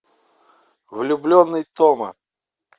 влюбленный тома